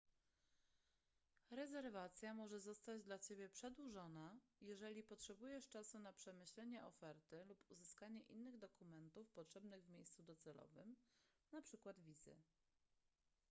rezerwacja może zostać dla ciebie przedłużona jeżeli potrzebujesz czasu na przemyślenie oferty lub uzyskanie innych dokumentów potrzebnych w miejscu docelowym np. wizy